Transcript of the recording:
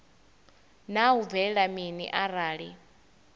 naa hu bvelela mini arali